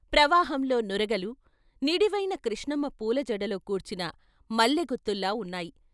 ప్రవాహంలో నురగలు, నిడివైన కృష్ణమ్మ పూలజడలో కూర్చిన మల్లె గుత్తుల్లా ఉన్నాయి.